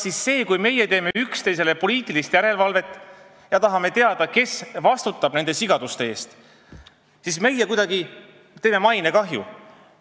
Ning kas me siis, kui meie teostame üksteise üle poliitilist järelevalvet ja tahame teada, kes vastutab nende sigaduste eest, põhjustame kuidagi mainekahju?